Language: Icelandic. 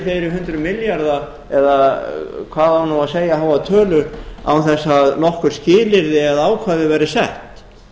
fleiri hundruð milljarða eða hvað á nú að segja háa tölu án þess að nokkur skilyrði eða ákvæði væru sett